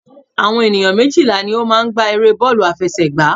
Àwọn ènìyàn méjìlá ní o máa n gbá eré bọ́ọ̀lù àfẹsẹ̀gbá